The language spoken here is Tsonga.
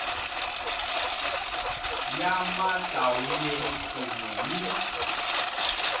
ya mahlawuri kun we ni